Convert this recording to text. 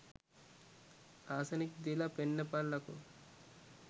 Arsenic දීල පෙන්නපල්ලකෝ.